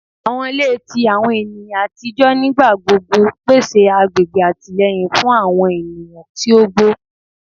Awọn ile ti awọn eniyan atijọ nigbagbogbo pese agbegbe atilẹyin fun awọn eniyan ti ogbo